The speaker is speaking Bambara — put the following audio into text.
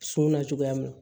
Suna cogoya min